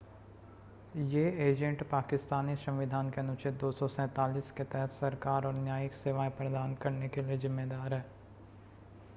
ये एजेंट पाकिस्तानी संविधान के अनुच्छेद 247 के तहत सरकार और न्यायिक सेवाएं प्रदान करने के लिए ज़िम्मेदार हैं